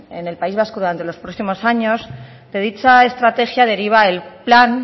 en el país vasco durante los próximos años de dicha estrategia deriva el plan